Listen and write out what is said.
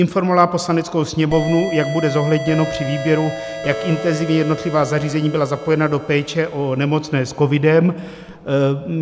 Informovala Poslaneckou sněmovnu, jak bude zohledněno při výběru, jak intenzivně jednotlivá zařízení byla zapojena do péče o nemocné s covidem.